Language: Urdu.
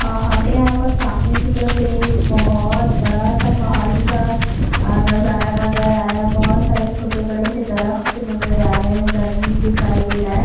آ ہمیں یہاں پر سامنے کی طرف ایک بھوت بڑا سا پہاڑی سا نظارہ نظر آ رہا ہے۔ بھوت سارے چھوٹے بڑے سے درخت نظر آ رہے ہے۔ جمین دکھائی دے رہا ہے۔